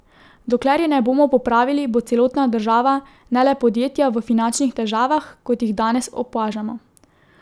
Dokler je ne bomo popravili, bo celotna država, ne le podjetja, v finančnih težavah, kot jih danes opažamo.